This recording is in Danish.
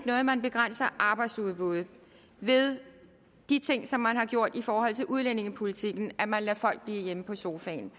noget at man begrænser arbejdsudbuddet ved de ting som man har gjort i forhold til udlændingepolitikken altså at man lader folk blive hjemme på sofaen